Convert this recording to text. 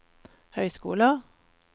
høyskoler